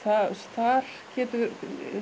þar getur